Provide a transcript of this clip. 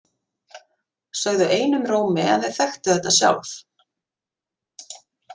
Sögðu einum rómi að þau þekktu þetta sjálf.